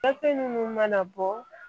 minnu mana bɔ